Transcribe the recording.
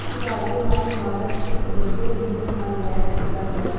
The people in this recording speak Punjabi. ਸੁਧਾਰ ਦੇ ਨਾਲ ਮਾਡਲ ਇੱਕ ਵੱਡੇ ਇੰਜਣ ਨਾਲ ਲੈਸ ਕੀਤਾ ਗਿਆ ਹੈ